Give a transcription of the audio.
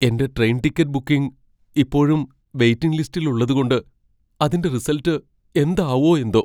എന്റെ train ticket booking ഇപ്പോഴും waiting ലിസ്റ്റിൽ ഉള്ളതുകൊണ്ട് അതിന്റെ റിസൽട്ട് എന്താവോ എന്തോ.